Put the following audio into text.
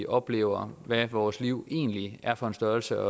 oplever hvad vores liv egentlig er for en størrelse